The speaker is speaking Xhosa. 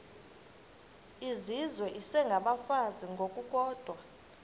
izizwe isengabafazi ngokukodwa